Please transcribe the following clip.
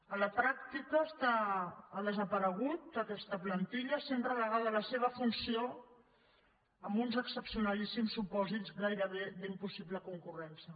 a la pràctica ha desaparegut aquesta plantilla i ha estat relegada la seva funció amb uns excepcionalíssims supòsits gairebé d’impossible concurrència